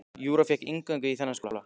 Júra fékk inngöngu í þennan skóla.